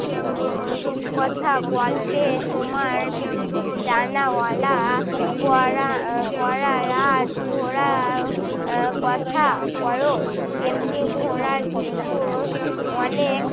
রূ~ রূপকথা গল্পে তোমার ডানাওয়ালা পড়া পড়া রাজঘোড়ার কথা পরও তেমনই ঘোড়ার কিন্তু অনেক